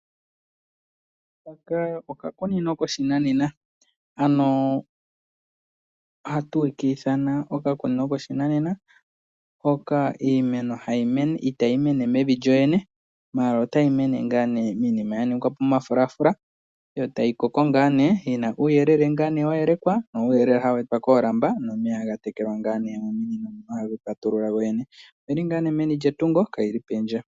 Haka okakunino koshinanena ano hatu ka ithana okakunino koshinanena hkka iimeno hayi mene, itayi mene mevi lyowene ihe otayi mene ngaa nee miinima ya ningwapo momafulafula. Yo tayi koko ngaa nee yina uuyelele ngaa nee wa yelekwa, uyelele hawu etwa ngaa nee koolamba nomeya gatekelwa ngaa nee mominino, haga ipatulula gogene. Oyi li nga nee meni lyetungo, ka yili pondje.